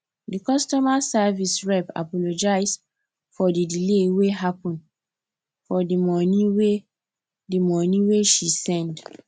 di customer service rep apologize for di delay wey happen for di money wey di money wey she send